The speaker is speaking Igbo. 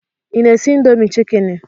Ị na-esi indomie chikeni?